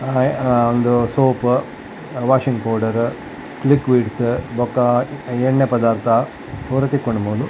ಅಹ್ ಅಹ್ ಉಂದು soap washing powder liquids ಬೊಕ್ಕ ಎಣ್ಣೆ ಪದಾರ್ಥ ಪೂರ ತಿಕ್ಕುಂಡು ಮೂಲು.